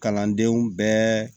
Kalandenw bɛɛ